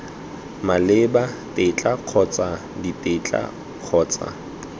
maleba tetla kgotsa ditetla kgotsa